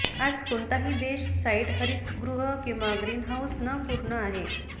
आज कोणताही देश साइट हरितगृह किंवा ग्रीनहाऊस न पूर्ण आहे